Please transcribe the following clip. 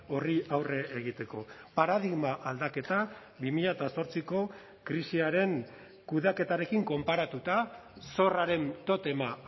horri aurre egiteko paradigma aldaketa bi mila zortziko krisiaren kudeaketarekin konparatuta zorraren totema